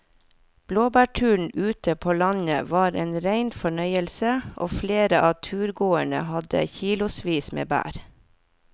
Blåbærturen ute på landet var en rein fornøyelse og flere av turgåerene hadde kilosvis med bær.